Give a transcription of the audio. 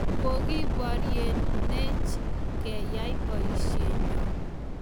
Kokiboryenech keyai boisyet nyoo